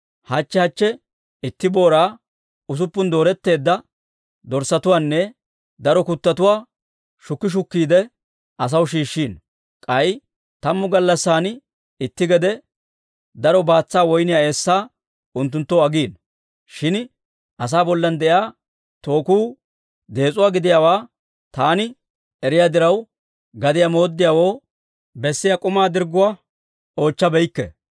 Hachche hachche itti booraa, usuppun dooretteedda dorssatuwaanne daro kuttotuwaa shukki shukkiide, asaw shiishshino; k'ay tammu gallassan itti gede daro baatsaa woyniyaa eessaa unttunttoo agiino. Shin asaa bollan de'iyaa tookuu dees'uwaa gidiyaawaa taani eriyaa diraw, gadiyaa mooddiyaawoo bessiyaa k'umaa dirgguwaa oochchabeykke.